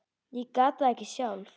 Ég gat það ekki sjálf.